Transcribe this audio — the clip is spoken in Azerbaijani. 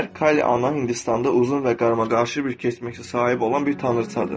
Kali ana Hindistanda uzun və qarmaqarışıq bir keçmişə sahib olan bir tanrıçadır.